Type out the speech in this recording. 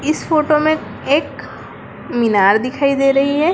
इस फोटो में एक मीनार दिखाई दे रही है।